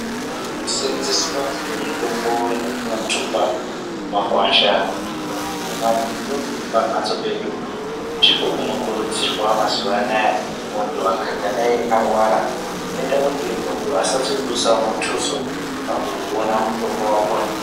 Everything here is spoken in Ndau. Kuseenzeswa kwemitombo yatinothumba mumakwasha kana kuti mamabindu epamhatso pedu ndiko kunokurudzirwa mazuwa anaa, munthu akadai arwara zvinoita kuti asazodusawo muthuso pakuona mutombo wakhona.